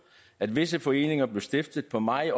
at visse foreninger blev stiftet på meget